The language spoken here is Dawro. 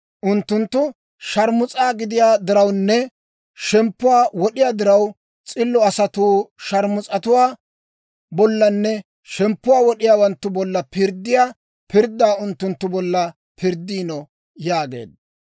Unttunttu sharmus's'a gidiyaa dirawunne shemppuwaa wod'iyaa diraw, s'illo asatuu sharmus'atuwaa bollanne shemppuwaa wod'iyaawanttu bolla pirddiyaa pirddaa unttunttu bolla pirddiino» yaageedda.